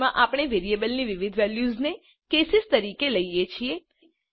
સ્વીચમાં આપણે વેરિયેબલની વિવિધ વેલ્યુઝને કેસીસ તરીકે લઈએ છીએ